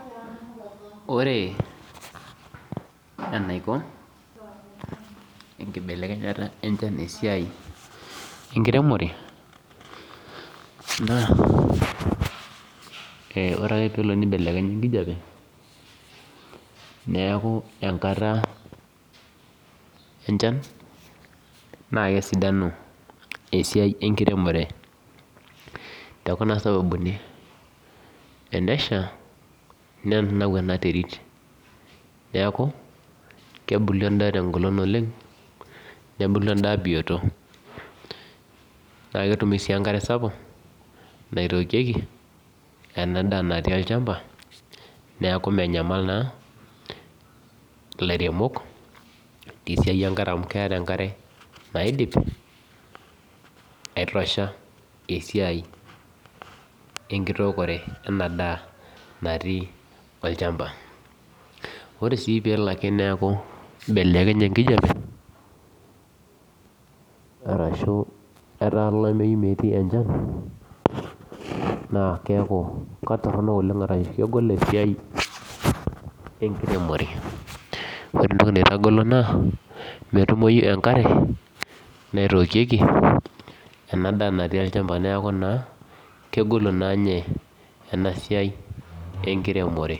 Ore enaiko enkibelekenyata enchan esiai enkiremore, naa ore pee loo pee ebelekenya enkijape neeku enkata enchan naa kesidanu esiai enkiremore tekuna sababuni tenesha nenanau ena terit neeku kubulu endaa te ngolon oleng nebulu endaa bioto naa ketumi sii enkare sapuk naitookieki ena daa natii olchamba neeku menyamal naa ilairemok te siai enkare amuu keeta enkare naidip atosha esiai enkitookore ena daa natii olchamba ore sii peelo neeku ebelekenye enkijape arashuu etaa olameyu metaa metii enchan naa keeku ketorono oleng' aashu kegol esiai enkiremore ore entoki naitagolo naa metumoi enkare naitookieki ena daa natii olchamba neeku naa kegolu naa ninye ena siai enkiremore.